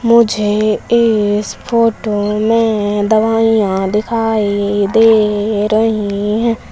मुझे इस फोटो में दवाइयां दिखाई दे रही हैं।